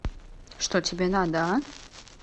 что тебе надо а